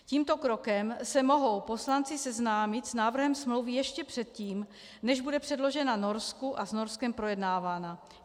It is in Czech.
Tímto krokem se mohou poslanci seznámit s návrhem smlouvy ještě předtím, než bude předložena Norsku a s Norskem projednávána.